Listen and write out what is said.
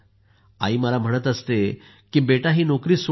आई मलाही म्हणत असते की बेटा ही नोकरी सोडून दे